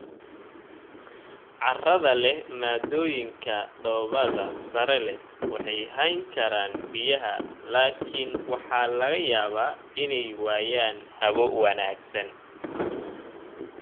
Carrada leh maaddooyinka dhoobada sare leh waxay hayn karaan biyaha laakiin waxaa laga yaabaa inay waayaan hawo wanaagsan.